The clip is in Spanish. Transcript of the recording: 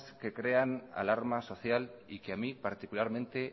que crean alarma social y que a mí particularmente